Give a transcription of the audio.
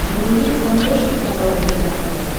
вруби на смотрешке канал рбк тв